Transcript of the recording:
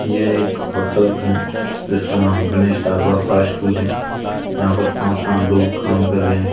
यह एक होटल है जिसका नाम गणेश ढाबा फास्ट फूड है यहां पर पांच सात लोग काम कर रहे हैं।